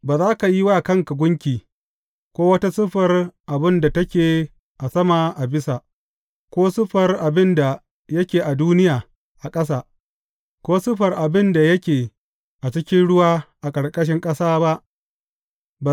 Ba za ka yi wa kanka gunki, ko wata siffar abin da take a sama a bisa, ko siffar abin da yake a duniya a ƙasa, ko siffar abin da yake a cikin ruwa a ƙarƙashin ƙasa ba.